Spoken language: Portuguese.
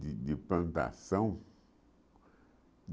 de de plantação.